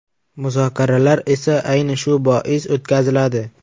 Muzokaralar esa, ayni shu bois o‘tkaziladi.